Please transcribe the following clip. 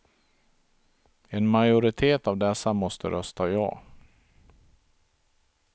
En majoritet av dessa måste rösta ja.